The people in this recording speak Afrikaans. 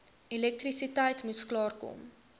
elektrisiteit moes klaarkom